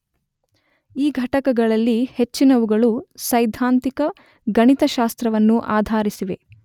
ಈ ಘಟಕಗಳಲ್ಲಿ ಹೆಚ್ಚಿನವುಗಳು ಸೈದ್ಧಾಂತಿಕ ಗಣಿತಶಾಸ್ತ್ರವನ್ನು ಆಧರಿಸಿವೆ